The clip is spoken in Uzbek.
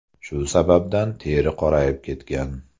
Shu sababdan teri qorayib ketgan.